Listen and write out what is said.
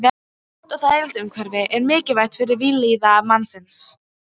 Gott og þægilegt umhverfi er mikilvægt fyrir vellíðan mannsins.